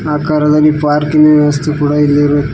ಆಕಾರದಲ್ಲಿ ಪಾರ್ಕಿನ ವ್ಯವಸ್ಥೆ ಕೂಡ ಇಲ್ಲಿ ಇರು--